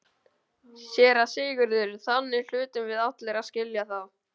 SÉRA SIGURÐUR: Þannig hlutum við allir að skilja það.